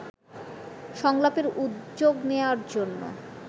সংলাপের উদ্যোগ নেওয়ার জন্য